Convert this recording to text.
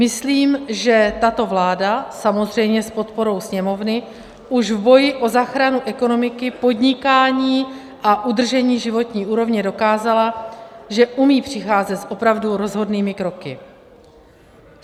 Myslím, že tato vláda - samozřejmě s podporou Sněmovny - už v boji o záchranu ekonomiky, podnikání a udržení životní úrovně dokázala, že umí přicházet s opravdu rozhodnými kroky.